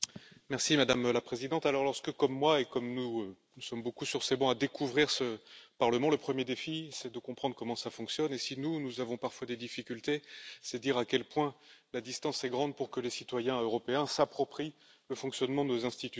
Madame la Présidente, lorsque comme moi et comme d'autres, nous sommes nombreux sur ces bancs à découvrir ce Parlement, le premier défi est de comprendre comment il fonctionne et si nous, nous avons parfois des difficultés, c'est dire à quel point la distance est grande pour que les citoyens européens s'approprient le fonctionnement de nos institutions.